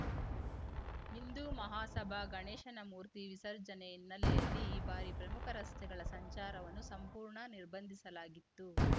ಹಿಂದೂಮಹಾಸಭಾ ಗಣೇಶನ ಮೂರ್ತಿ ವಿಸರ್ಜನೆ ಹಿನ್ನೆಲೆಯಲ್ಲಿ ಈ ಬಾರಿ ಪ್ರಮುಖ ರಸ್ತೆಗಳ ಸಂಚಾರವನ್ನು ಸಂಪೂರ್ಣ ನಿರ್ಬಂಧಿಸಲಾಗಿತ್ತು